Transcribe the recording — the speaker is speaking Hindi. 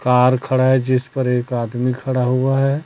कार खड़ा है जिस पर एक आदमी खड़ा हुआ है।